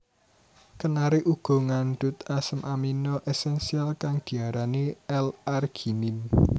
Kenari uga ngandhut asam amino esensial kang diarani L arginine